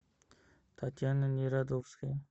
татьяна нерадовская